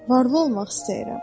Varlı olmaq istəyirəm.